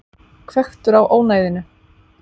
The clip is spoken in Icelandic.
Hvekktur á ónæðinu.